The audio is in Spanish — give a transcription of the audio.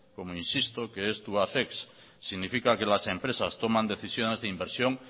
como insisto que es tubacex significa que las empresas toman decisiones de inversión